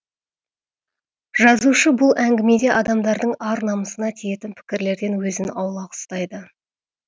жазушы бұл әңгімеде адамдардың ар намысына тиетін пікірлерден өзін аулақ ұстайды